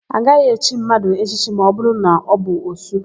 A gaghị echi mmadụ echichi ma ọbụrụ na ọ bụ òsú.